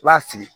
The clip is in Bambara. I b'a sigi